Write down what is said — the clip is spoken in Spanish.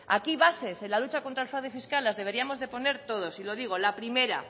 aquí bases en la lucha contra el fraude fiscal las deberíamos de poner todos y lo digo la primera